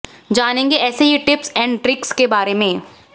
जानेंगे ऐसे ही टिप्स एंड ट्रिक्स के बारे में